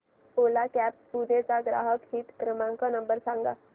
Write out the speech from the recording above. ओला cabs Pune चा ग्राहक हित क्रमांक नंबर सांगा